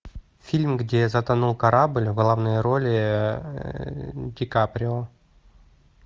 фильм где затонул корабль в главной роли ди каприо